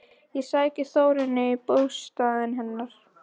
Ég sæki Þórunni í bústaðinn hennar.